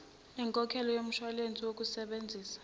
nenkokhelo yomshwalense wokungasebenzi